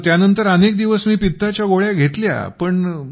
मग त्यानंतर अनेक दिवस मी पित्ताच्या गोळ्या घेतल्या